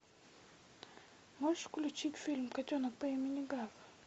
можешь включить фильм котенок по имени гав